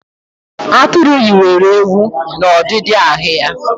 Atụru yiwere ewu n'ọdidi ahụ ya